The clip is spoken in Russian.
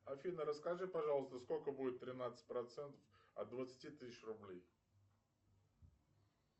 афина расскажи пожалуйста сколько будет тринадцать процентов от двадцати тысяч рублей